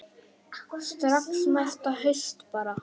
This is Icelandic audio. Strax næsta haust bara.